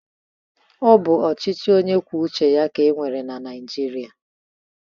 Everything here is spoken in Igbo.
Ọ bụ ochichị ọnye kwụo ụche ya ka e nwere na naijịria